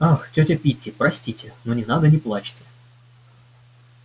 ах тётя питти простите меня ну не надо не плачьте